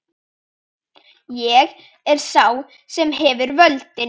Ég er sá sem hefur völdin.